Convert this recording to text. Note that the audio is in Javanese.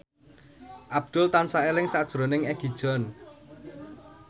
Abdul tansah eling sakjroning Egi John